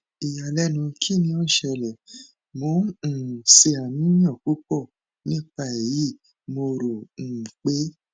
iyalẹnu kini o n sele mo n um ṣe aniyan pupọ nipa eyi mo ro um pe